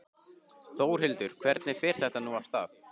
Þórhildur, hvernig fer þetta nú af stað?